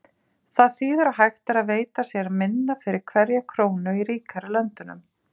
Það þýðir að hægt er að veita sér minna fyrir hverja krónu í ríkari löndunum.